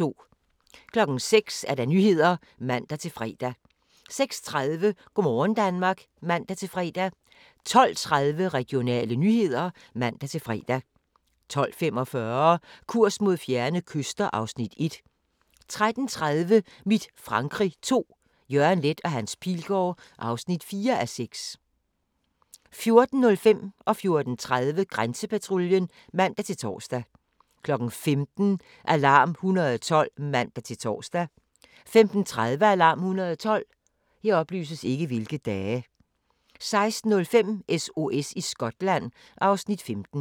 06:00: Nyhederne (man-fre) 06:30: Go' morgen Danmark (man-fre) 12:30: Regionale nyheder (man-fre) 12:45: Kurs mod fjerne kyster (Afs. 1) 13:30: Mit Frankrig II – Jørgen Leth & Hans Pilgaard (4:6) 14:05: Grænsepatruljen (man-tor) 14:30: Grænsepatruljen (man-tor) 15:00: Alarm 112 (man-tor) 15:30: Alarm 112 16:05: SOS i Skotland (Afs. 15)